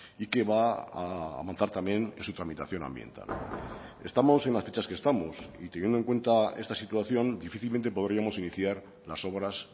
y que va a avanzar también en su tramitación ambiental estamos en las fechas que estamos y teniendo en cuenta esta situación difícilmente podríamos iniciar las obras